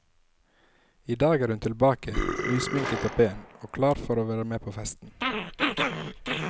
I dag er hun tilbake nysminket og pen, og klar for å være med på festen.